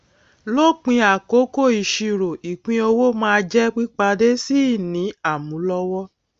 lópin àkókò ìsirò ìpínowó máa jẹ pípadé sí ìní àmúlọwọ